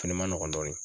Fɛnɛ ma nɔgɔn dɔɔnin